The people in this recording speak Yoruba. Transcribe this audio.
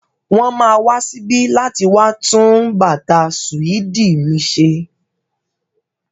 Wọ́n ma wá síbí láti wá tún bàtà sùédì mi ṣe.